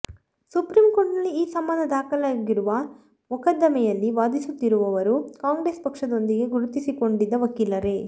supreme ಕೋರ್ಟ್ನಲ್ಲಿ ಈ ಸಂಬಂಧ ದಾಖಲಾಗಿರುವ ಮೊಕದ್ದಮೆಯಲ್ಲಿ ವಾದಿಸುತ್ತಿರುವವರೂ ಕಾಂಗ್ರೆಸ್ ಪಕ್ಷದೊಂದಿಗೆ ಗುರುತಿಸಿಕೊಂಡಿದ್ದ ವಕೀಲರೇ